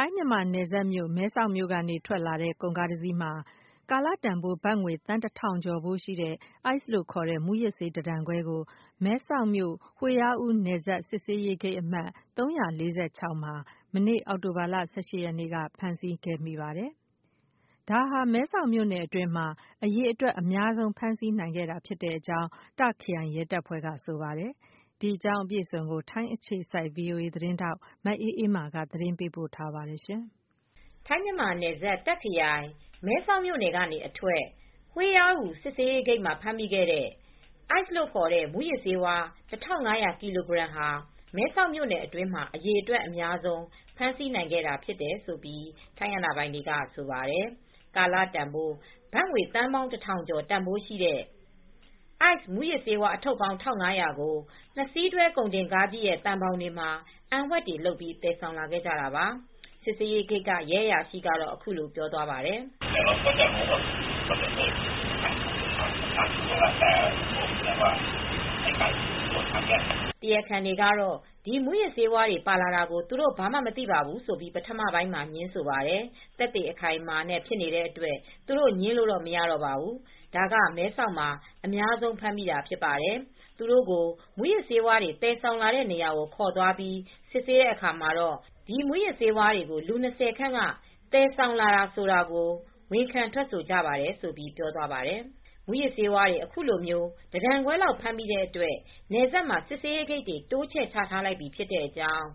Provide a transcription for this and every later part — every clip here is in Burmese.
ိုင်း-မြန်မာနယ်စပ်က မဲဆောက်မြို့အထွက် ကုန်ကားတစီးမှာ အန်ဝှက်တွေလုပ်လာပြီး သယ်လာတဲ့ ကာလတန်ဖိုး ဘတ်ငွေ သန်း ၁၀၀၀ ကျော်တန်ဖိုးရှိတဲ့ အိုက်စ်လို့ခေါ်တဲ့ မူးယစ်ဆေး တတန်ခွဲကို မဲဆောက်မြို့ ဟွေးယားအူး (Huai Ra Ru) နယ်စပ်စစ်ဆေးရေး အမှတ် ၃၄၆ ဂိတ်မှာ အောက်တိုဘာလ ၁၈ ရက်နေ့က ဖမ်းဆီးမိခဲ့ပါတယ်။ ဒါဟာ မဲဆောက်မြို့နယ်ထဲမှာ အရေအတွက်အများဆုံး ဖမ်းဆီးနိုင်ခဲ့တာလို့ တာ့ခ်ခရိုင် ထိုင်းရဲတပ်ဖွဲ့က ဆိုပါတယ်။ အပြည့်အစုံကို ထိုင်းအခြေစိုက် ဗွီအိုအေသတင်းထောက် မအေးအေးမာက သတင်းပေးပို့ထားပါတယ်။ ထိုင်း-မြန်မာနယ်စပ် တာ့ခ်ခရိုင် မဲဆောက်မြို့နယ်ကနေအထွက် ဟွေးယားအူး စစ်ဆေးရေးဂိတ်မှာ ဖမ်းမိခဲ့တဲ့ အိုက်စ်လို့ခေါ်တဲ့ မူးယစ်ဆေး ၁၅၀၀ ကီလိုဂရမ်ဟာ မဲဆောက်မြို့နယ်အတွင်းမှာ အရေအတွက်အများဆုံး ဖမ်းဆီးနိုင်ခဲ့တာလို့ ထိုင်းအာဏာပိုင်တွေက ဆိုပါတယ်။ ကာလတန်ဖိုး ဘတ်သန်းပေါင်း ၁၀၀၀ ကျော်တန်ဖိုးရှိတဲ့ အိုက်စ်မူးယစ်ဆေး အထုပ်ပေါင်း ၁၅၀၀ ကို နှစ်စီးတွဲ ကုန်တင်ကားကြီးရဲ့ သံဘောင်တွေမှာ အံဝှက်တွေလုပ်ပြီး သယ်လာခဲ့ကြတာပါ။ စစ်ဆေးရေးဂိတ်က ရဲအရာရှိက အခုလိုပြောပါတယ်။ “တရားခံတွေက ဒီမူးယစ်ဆေးတွေ ပါလာတာ သူတို့ ဘာမှမသိဘူးလို့ ပထမပိုင်းမှာ ငြင်းပါတယ်။ သက်သေအခိုင်အမာနဲ့ ဖြစ်နေတဲ့အတွက် သူတို့ ငြင်းလို့မရတော့ပါဘူး။ ဒါက မဲဆောက်မှာ အများဆုံးမိတာဖြစ်တယ်။ သူတို့ကို မူးယစ်ဆေးဝါးတွေ သယ်ဆောင်လာတဲ့နေရာကို ခေါ်သွားပြီး စစ်ဆေးတဲ့အခါမှာ ဒီမူးယစ်ဆေးတွေကို လူ ၂၀ ခန့်က သယ်ဆောင်လာတာ ဆိုတာကို ဝန်ခံထွက်ဆိုကြပါတယ်” ဆိုပြီး ပြောသွားပါတယ်။ မူးယစ်ဆေးဝါးတွေ အခုလို တတန်ခွဲလောက် ဖမ်းမိတဲ့အတွက် နယ်စပ်မှာ စစ်ဆေးရေးဂိတ်တွေ တိုးချဲ့ချထားလိုက်ပြီဖြစ်ကြောင်း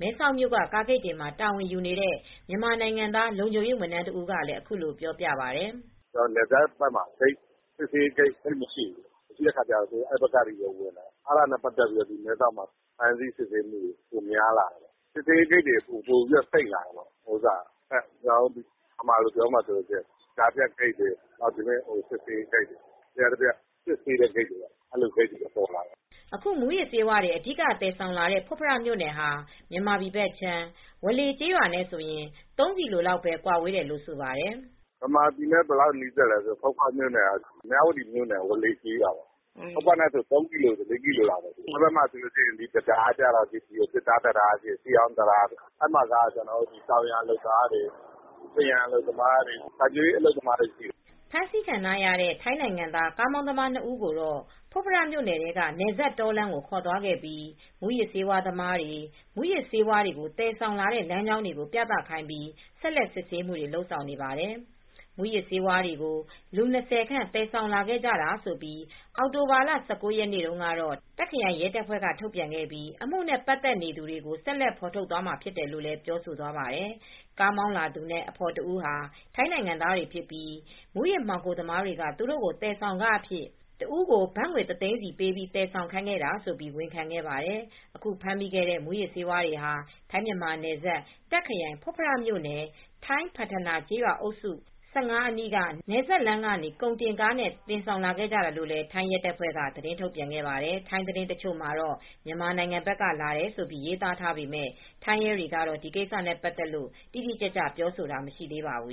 မဲဆောက်မြို့က ကားဂိတ်တွေမှာ တာဝန်ယူနေတဲ့ မြန်မာနိုင်ငံသား လုံခြုံရေးဝန်ထမ်းတဦးကလည်း အခုလိုပြောပြပါတယ်။ “နယ်စပ်ဘက်မှာ စစ်ဆေးရေးဂိတ်တွေ သိပ်မရှိဘူး။ မရှိတဲ့အခါကျတော့ အဲဒီဘက်ကနေ ဝင်လာတာ။ အဲဒါနဲ့ပတ်သက်ပြီး မဲဆောက်ဘက်မှာ စစ်ဆေးရေးဂိတ်တွေ ပိုများလာတယ်။ ကြားဖြတ်ဂိတ်တွေ များလာတယ်။ လျှပ်တပြက် စစ်ဆေးတဲ့ဂိတ်တွေ များလာတယ်။” အခု မူးယစ်ဆေးဝါးတွေ အဓိကသယ်ဆောင်လာတဲ့ ဖွတ်ဖရမြို့နယ်ဟာ မြန်မာပြည်ဘက်ခြမ်း ဝါးလေကျေးရွာနဲ့ဆိုရင် ၃ ကီလိုမီတာလောက်ပဲ ကွာဝေးတယ်လို့ ဆိုပါတယ်။ “မြန်မာပြည်နဲ့ ဘယ်လောက်နီးစပ်လဲဆိုရင် မြဝတီမြို့နယ် ဝါးလေကျေးရွာနဲ့ နီးတယ်။ ဖွတ်ဖရက ၃ ကီလို ၄ ကီလိုလောက်ပဲဝေးတယ်။ အဲဒီဘက်မှာက တံတားက သစ်သားတံတား၊ ရှေးဟောင်းတံတားပဲရှိတယ်။ အဲဒီဘက်မှာ တောင်ယာလုပ်သားတွေ၊ ပန်းရန်အလုပ်သမားတွေ၊ စိုက်ပျိုးရေးအလုပ်သမားတွေ ရှိတယ်။” ဖမ်းဆီးခံထားရတဲ့ ထိုင်းနိုင်ငံသား ကားမောင်းသမား ၂ ဦးကိုတော့ ဖွတ်ဖရမြို့နယ်ထဲက နယ်စပ်တောလမ်းကို ခေါ်ဆောင်သွားပြီး မူးယစ်ဆေးဝါးသမားတွေ မူးယစ်ဆေးဝါးတွေ သယ်ဆောင်လာတဲ့ လမ်းကြောင်းတွေကို ပြသခိုင်းပြီး ဆက်လက်စစ်ဆေးမှုတွေ လုပ်ဆောင်နေပါတယ်။ မူးယစ်ဆေးတွေကို လူ ၂၀ ခန့် သယ်ဆောင်လာခဲ့ကြတာလို့ အောက်တိုဘာလ ၁၉ ရက်နေ့မှာတော့ တာ့ခ်ခရိုင်ရဲတပ်ဖွဲ့က ထုတ်ပြန်ခဲ့ပြီး အမှုနဲ့ ပတ်သက်နေသူတွေကို ဆက်လက်ဖော်ထုတ်သွားမှာ ဖြစ်တယ်လို့လည်း ပြောဆိုသွားပါတယ်။ ကုန်ကားမောင်းလာသူနဲ့ အဖော်ဖြစ်သူဟာ ထိုင်းနိုင်ငံသားတွေဖြစ်ပြီး မူးယစ်မှောင်ခိုသမားတွေက သူတို့ကို သယ်ဆောင်ခအဖြစ် တဦးကို ဘတ်ငွေတသိန်းပေး သယ်ဆောင်ခိုင်းခဲ့တာလို့ ဝန်ခံခဲ့ပါတယ်။ အခုဖမ်းမိတဲ့ မူးယစ်ဆေးဝါးတွေဟာ ထိုင်း-မြန်မာနယ်စပ် တာ့ခ်ခရိုင် ဖွတ်ဖရမြို့နယ် ထိုင်းဖတ်ထနာကျေးရွာအုပ်စု ၁၅ အနီးက နယ်စပ်လမ်းကနေ ကုန်တင်ကားနဲ့ တင်ဆောင်ခဲ့ကြတာလို့လည်း ထိုင်းရဲတပ်ဖွဲ့က သတင်းထုတ်ပြန်ပါတယ်။ ထိုင်းသတင်းတချို့မှာတော့ မြန်မာနိုင်ငံဘက်ကလာတယ်ဆိုပြီး ရေးသားထားပေမယ့် ထိုင်းရဲတွေကတော့ ဒီကိစ္စနဲ့ပတ်သက်လို့ တိတိကျကျပြောဆိုတာ မရှိသေးပါဘူး